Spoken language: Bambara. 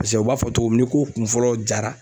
Paseke u b'a fɔ cogo min ni ko kun fɔlɔ jara